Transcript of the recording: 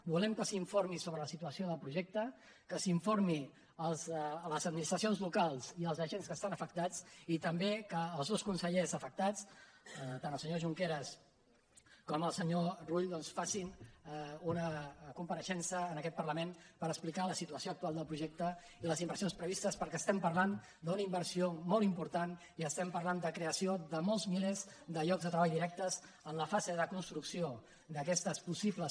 volem que s’informi sobre la situació del projecte que s’informi les administracions locals i els agents que estan afectats i també que els dos consellers afectats tant el senyor junqueras com el senyor rull facin una compareixença en aquest parlament per explicar la situació actual del projecte i les inversions previstes perquè parlem d’una inversió molt important i parlem de la creació de molts milers de llocs de treball directes en la fase de construcció d’aquestes possibles